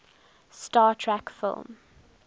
star trek film